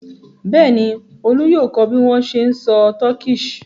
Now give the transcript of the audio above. Bẹ́ẹ̀ ni, Olú yóò kọ́ bí wọ́n ṣe ń sọ Turkish.